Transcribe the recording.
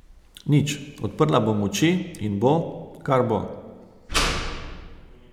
Nič, odprla bom oči in bo, kar bo.